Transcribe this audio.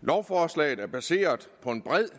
lovforslaget er baseret på en bred